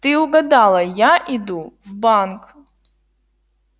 ты угадала я иду в банк